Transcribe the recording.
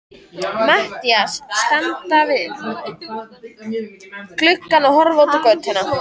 Matthías standa við gluggann og horfa út á götuna.